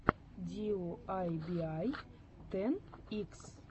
диуайбиай тэн икс